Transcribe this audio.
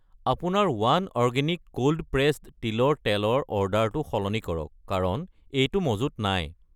আপোনাৰ one organic cold pressed তিলৰ তেল ৰ অৰ্ডাৰটো সলনি কৰক কাৰণ এইটো মজুত নাই।